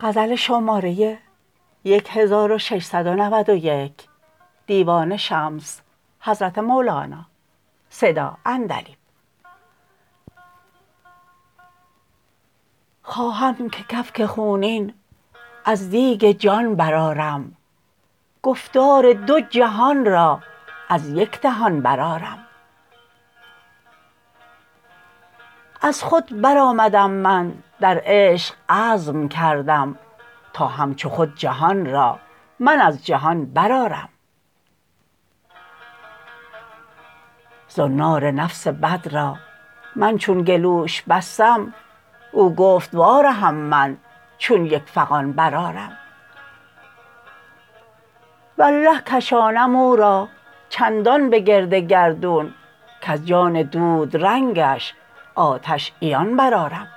خواهم که کفک خونین از دیگ جان برآرم گفتار دو جهان را از یک دهان برآرم از خود برآمدم من در عشق عزم کردم تا همچو خود جهان را من از جهان برآرم زنار نفس بد را من چون گلوش بستم از گفت وارهم من چون یک فغان برآرم والله کشانم او را چندان به گرد گردون کز جان دودرنگش آتش عیان برآرم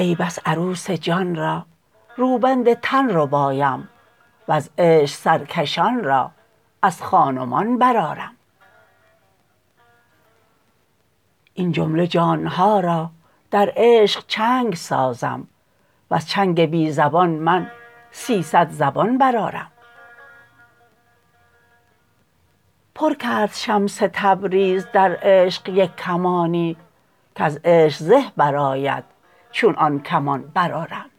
ای بس عروس جان را روبند تن ربایم وز عشق سرکشان را از خان و مان برآرم این جمله جان ها را در عشق چنگ سازم وز چنگ بی زبان من سیصد زبان برآرم پر کرد شمس تبریز در عشق یک کمانی کز عشق زه برآید چون آن کمان برآرم